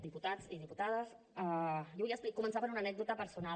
diputats i diputades jo volia començar per una anècdota personal